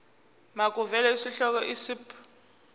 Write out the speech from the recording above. makuvele isihloko isib